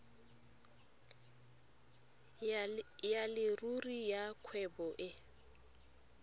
ya leruri ya kgwebo e